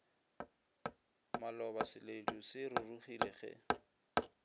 maloba seledu se rurugile ge